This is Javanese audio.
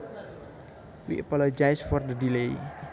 We appologise for the delay